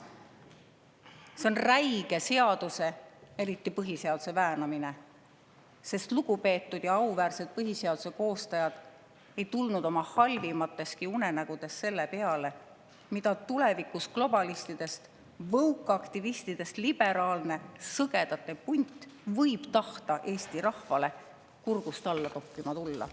See on räige seaduse, eriti põhiseaduse väänamine, sest lugupeetud ja auväärsed põhiseaduse koostajad ei tulnud oma halvimateski unenägudes selle peale, mida tulevikus globalistidest ja woke-aktivistidest liberaalne sõgedate punt võib tahta Eesti rahval kurgust alla toppima tulla.